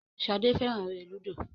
Shade féràn èrè ludo.